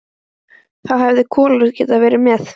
Þá hefði Kolur getað verið með.